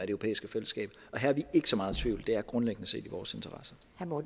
europæiske fællesskab her er vi ikke så meget i tvivl det er grundlæggende set i vores interesse